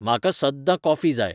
म्हाका सद्दां काॅफी जाय